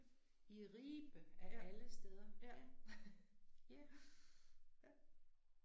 I Ribe, af alle steder, ja. Ja